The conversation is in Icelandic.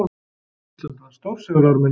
Ísland vann stórsigur á Armeníu